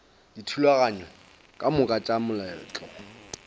dithulaganyo ka moka tša moletlo